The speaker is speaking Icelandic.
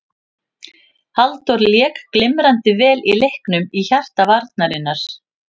Halldór lék glimrandi vel í leiknum í hjarta varnarinnar.